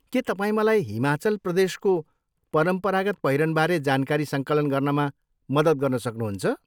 के तपाईँ मलाई हिमाचल प्रदेशको परम्परागत पहिरनबारे जानकारी सङ्कलन गर्नमा मद्दत गर्न सक्नुहुन्छ?